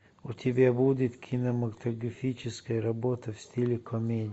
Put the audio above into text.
у тебя будет кинематографическая работа в стиле комедия